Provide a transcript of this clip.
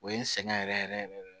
O ye n sɛgɛn yɛrɛ yɛrɛ yɛrɛ